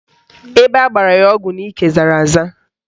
Ebe agbara ya ọgwụ n'ike zara aza